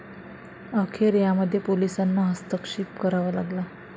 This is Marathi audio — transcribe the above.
अखेर यामध्ये पोलिसांना हस्तक्षेप करावा लागला.